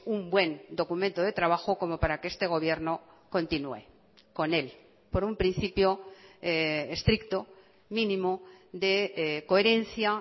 un buen documento de trabajo como para que este gobierno continúe con él por un principio estricto mínimo de coherencia